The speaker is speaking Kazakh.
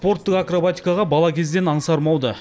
спорттық акробатикаға бала кезден аңсарым ауды